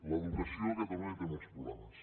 l’educació a catalunya té molts proble·mes